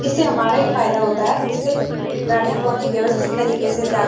इससे हमारा ही फायदा होता है इससे गड़िया बहुत ही व्यवस्थित तरीके से जा --